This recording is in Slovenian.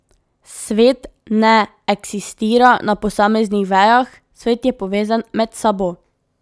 Svet ne eksistira na posameznih vejah, svet je povezan med sabo.